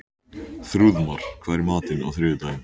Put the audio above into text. Þrúðmar, hvað er í matinn á þriðjudaginn?